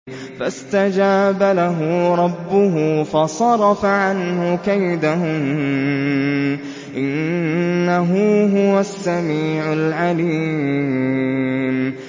فَاسْتَجَابَ لَهُ رَبُّهُ فَصَرَفَ عَنْهُ كَيْدَهُنَّ ۚ إِنَّهُ هُوَ السَّمِيعُ الْعَلِيمُ